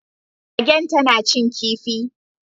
Magen tana cin kifi